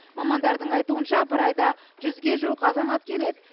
мамандардың айтуынша бір айда жүзге жуық азамат келеді